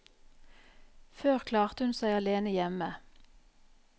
Før klarte hun seg alene hjemme.